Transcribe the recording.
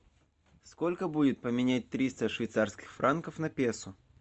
сколько будет поменять триста швейцарских франков на песо